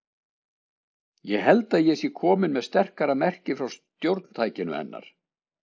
Ég held að ég sé komin með sterkara merki frá stjórntækinu hennar.